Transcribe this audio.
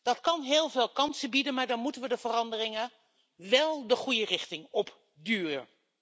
Dat kan heel veel kansen bieden, maar dan moeten we de veranderingen wel de goede richting op duwen.